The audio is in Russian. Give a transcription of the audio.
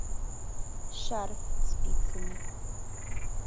шарф спицами